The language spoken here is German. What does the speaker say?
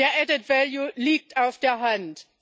Der liegt auf der Hand.